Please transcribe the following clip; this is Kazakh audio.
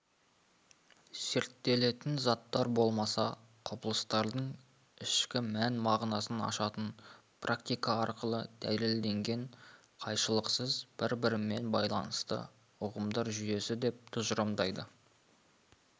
зерттелетін заттар болмаса құбылыстардың ішкі мән мағынасын ашатын практика арқылы дәлелденген қайшылықсыз бір-бірімен байланысты ұғымдар жүйесі деп тұжырымдайды